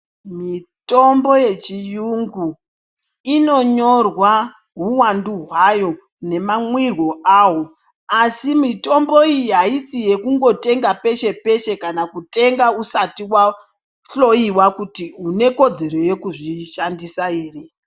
Mitombo yechiyungu inonyorwa hwuwandu hwayo nemamwiryo awo asi mitombo iyi aisi yekungotenga peshe peshe kana kutenga usati wahloyiwa kuti unekodzero yekuzvishandisa here.